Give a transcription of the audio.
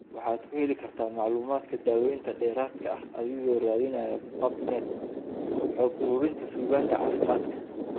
Waxaad ku heli kartaa macluumaadka daawaynta dheeraadka ah adiga oo raadinaya PubMed, xog-ururinta suugaanta caafimaadka.